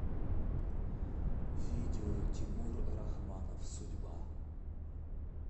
видео тимур рахманов судьба